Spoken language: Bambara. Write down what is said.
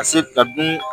Ka se ka dun